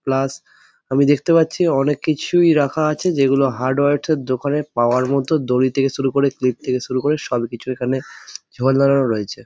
Plus আমি দেখতে পাচ্ছি অনেক কিছুই রাখা আছে যেগুলো হার্ডওয়ার স দোকানে পাওয়ার মতো দড়ি থেকে শুরু করে ক্লিপ থেকে শুরু করে সবকিছু এখানে রয়েছে।